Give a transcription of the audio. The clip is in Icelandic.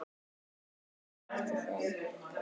Óskaði eftir þeim?